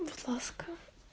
будь ласка